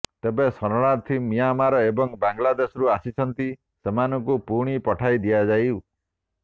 ଯେତେ ଶରଣାର୍ଥୀ ମିଆଁମାର ଏବଂ ବାଲାଂଦେଶରୁ ଆସିଛନ୍ତି ସେମାନଙ୍କୁ ପୁଣି ପଠାଇ ଦିଆଯାଉ